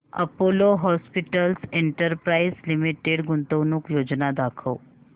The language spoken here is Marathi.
अपोलो हॉस्पिटल्स एंटरप्राइस लिमिटेड गुंतवणूक योजना दाखव